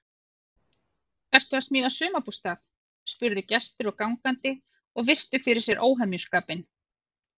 Ertu að smíða sumarbústað? spurðu gestir og gangandi og virtu fyrir sér óhemjuskapinn.